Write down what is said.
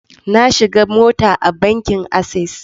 Na shiga mota a bankin Access.